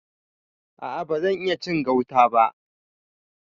A a ban iya cin gauta ba.